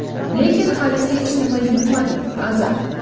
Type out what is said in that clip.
lekin hali hech nima yutmadik — Azar;.